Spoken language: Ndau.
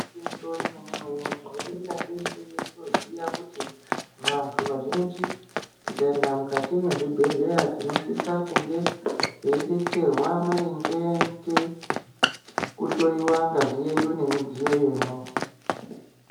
Igwinyiso remene-mene, tinoningira peshe toziya kuti vantu vazhinji tikaenda mukati mwezvibhedhleya. Tinosisa kunge teibetserwa maringe ngekuhloiwa ngazi yedu nemidziyo yemwo.